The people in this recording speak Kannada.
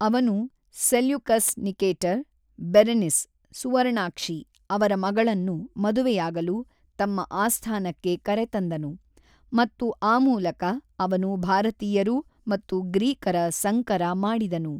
ಅವನು ಸೆಲ್ಯೂಕಸ್ ನಿಕೇಟರ್, ಬೆರೆನಿಸ್ (ಸುವರ್ಣಾಕ್ಷಿ) ಅವರ ಮಗಳನ್ನು ಮದುವೆಯಾಗಲು ತಮ್ಮ ಆಸ್ಥಾನಕ್ಕೆ ಕರೆತಂದನು ಮತ್ತು ಆ ಮೂಲಕ ಅವನು ಭಾರತೀಯರು ಮತ್ತು ಗ್ರೀಕರ ಸಂಕರ ಮಾಡಿದನು.